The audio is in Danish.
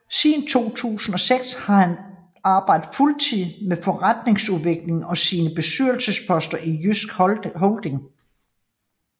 Siden 2006 har han arbejdet fuldtid med forretningsudvikling og sine bestyrelsesposter i JYSK Holding